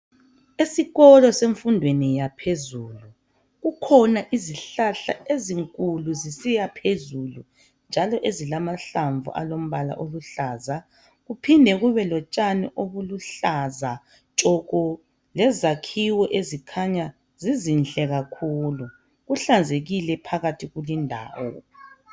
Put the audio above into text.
Esikolo semfundweni yaphezulu kukhona izihlahla ezinkulu zisiya phezulu, njalo ezilamahlamvu alombala oluhlaza kuphinde kube lotshani obuluhlaza tshoko, lezakhiwo ezikhanya zizinhle kakhulu. Kuhlanzekile phakathi kulindawo.